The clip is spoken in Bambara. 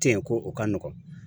Ten yen ko o ka nɔgɔn